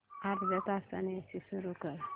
अर्ध्या तासाने एसी सुरू कर